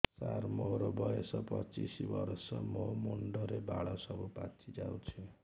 ସାର ମୋର ବୟସ ପଚିଶି ବର୍ଷ ମୋ ମୁଣ୍ଡରେ ବାଳ ସବୁ ପାଚି ଯାଉଛି